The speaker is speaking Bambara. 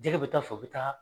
Jɛgɛ bɛ taa fɔ o bɛ taa